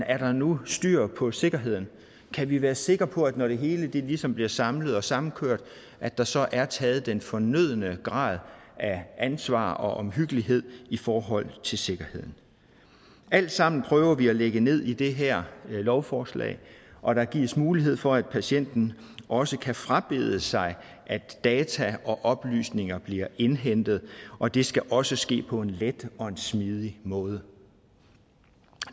er der nu styr på sikkerheden kan vi være sikre på at når det hele ligesom bliver samlet og samkørt at der så er taget den fornødne grad at ansvar og omhyggelighed i forhold til sikkerheden alt sammen prøver vi at lægge ned i det her lovforslag og der gives mulighed for at patienten også kan frabede sig at data og oplysninger bliver indhentet og det skal også ske på en let og en smidig måde